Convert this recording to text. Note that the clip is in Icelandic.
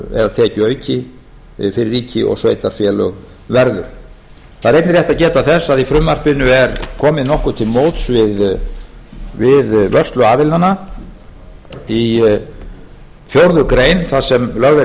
eða tekjuauki fyrir ríki og sveitarfélög verður það er einnig rétt að geta þess að í frumvarpinu er komið nokkuð til móts við vörsluaðilana í fjórða grein þar sem lögð